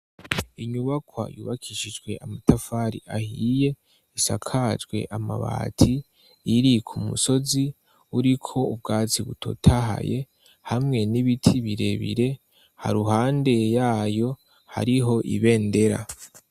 Inyubakwa yubakishijwe amatafari ahiye isakajwe amabati iri kumusozi uriko ubwatsi butotahaye hamwe n'ibiti birebire haruhande yayo hariho ibendera.